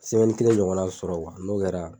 kelen ɲɔgɔnna sɔrɔ n'o kɛra